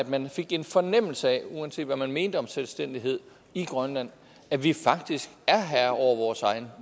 man fik en fornemmelse af uanset hvad man mener om selvstændighed i grønland at vi faktisk er herre over vores egen